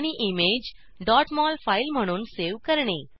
आणि image mol file म्हणून save करणे